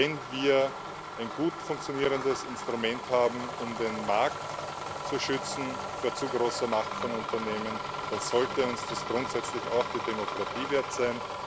Wenn wir ein gut funktionierendes Instrument haben, um den Markt vor zu großer Macht von Unternehmen zu schützen, dann sollte uns das grundsätzlich auch die Demokratie wert sein.